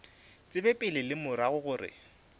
tsebe pele le morago gore